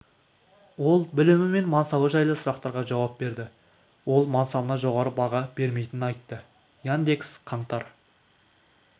ол білімі мен мансабы жайлы сұрақтарға жауап берді ол мансабына жоғары баға бермейтінін айтты яндекс қаңтар